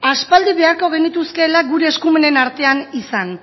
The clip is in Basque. aspaldi beharko genituzkeela gure eskumenen artean izan